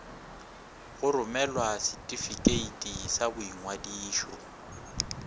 go romela setifikeiti sa boingwadišo